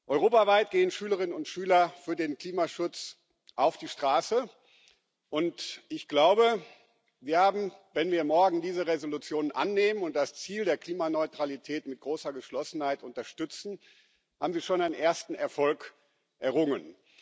Europaweit gehen Schülerinnen und Schüler für den Klimaschutz auf die Straße, und ich glaube, sie haben, wenn wir morgen diese Entschließung annehmen und das Ziel der Klimaneutralität mit großer Geschlossenheit unterstützen, schon einen ersten Erfolg errungen.